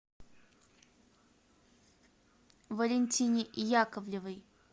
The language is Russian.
валентине яковлевой